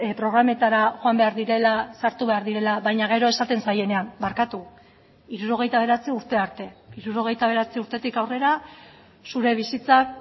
programetara joan behar direla sartu behar direla baina gero esaten zaienean barkatu hirurogeita bederatzi urte arte hirurogeita bederatzi urtetik aurrera zure bizitzak